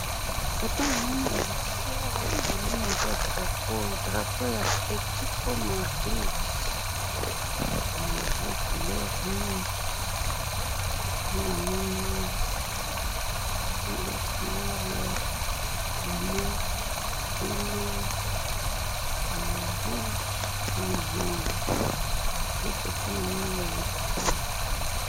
Foto namoni balakisi awa, manoni eza drapeau, drapeau ya ⭐️ALTETICO MADRID⭐️ eh! Eza couleur mingi, nde namoni awa, ba couleur ya bleu, pembe, eh! Ya rouge na jaune, nde foto namoni balakisi awa.